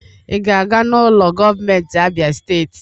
ị ga-aga n'ụlọ gọọmentị Abia steeti